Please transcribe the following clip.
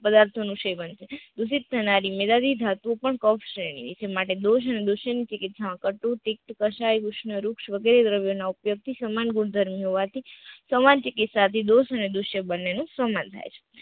પદાર્થો નું સેવન, દુષિત સોનાની મીરારી ધાતુઓ પણ પક્ષ રહેરી એના માટે દો જાણ દુશ્યંત ટિકિટ નું વૃક્ષ ના વૃક્ષ વગેરે દ્રવ્ય ના ઉપયોગ થી સમાન ગુણ ધર્મો હોવાથી સમાન ચિકિત્સા થી દોષ અને દુષ્ય બન્ને નું સમ્માન થાય છે.